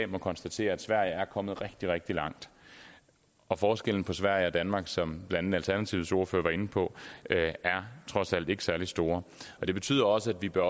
må konstatere at sverige er kommet rigtig rigtig langt og forskellen på sverige og danmark som blandt andet alternativets ordfører var inde på er trods alt ikke særlig stor det betyder også at vi bør